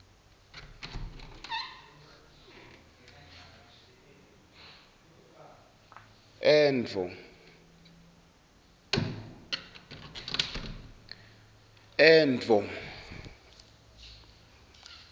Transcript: endvo